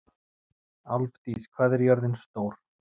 Álfdís, hvað er jörðin stór?